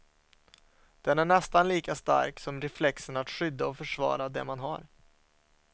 Den är nästan lika stark som reflexen att skydda och försvara det man har.